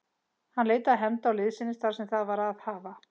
Hann leitaði hefnda og liðsinnis þar sem það var að hafa.